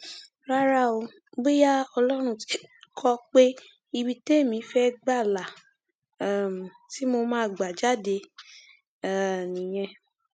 rárá o bóyá ọlọrun tí kó o pé ibi témi fẹẹ gbà la um ti mọ máa gbà jáde um nìyẹn